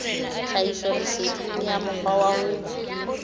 tlhahisoleseding ya mokgwa wa ho